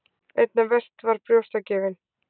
Einna verst var brjóstagjöfin.